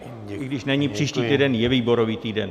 I když není příští týden, je výborový týden.